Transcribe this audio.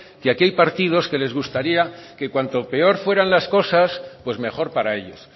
que aquí hay partidos que les gustaría que cuanto peor fueran las cosas pues mejor para ellos